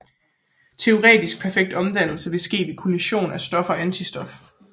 Teoretisk perfekt omdannelse ville ske ved kollision af stof og antistof